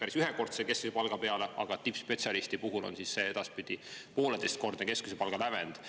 päris ühekordse keskmise palga peale, aga tippspetsialisti puhul edaspidi pooleteisekordse keskmise palga lävend.